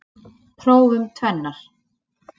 Prófum tvennar.